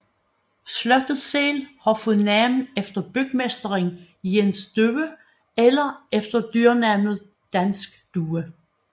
Slottet selv har fået navn efter bygmesteren Jens Due eller efter dyrnavnet dansk due